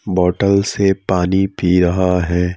Bottle से पानी पी रहा है।